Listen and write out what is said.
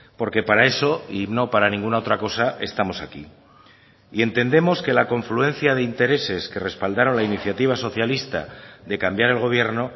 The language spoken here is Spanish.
porque para eso y no para ninguna otra cosa estamos aquí y entendemos que la confluencia de intereses que respaldaron la iniciativa socialista de cambiar el gobierno